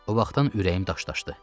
O vaxtdan ürəyim daşdaşdı.